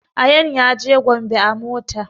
Ayaan ya je gombe a mota